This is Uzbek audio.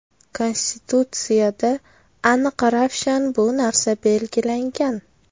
Konstitutsiyada aniq-ravshan bu narsa belgilangan.